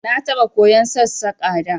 Na taɓa koyan Sassaƙa da